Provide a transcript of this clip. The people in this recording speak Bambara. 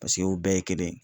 Paseke o bɛɛ ye kelen ye